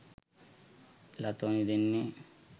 ලතෝනි දෙන්නෙ.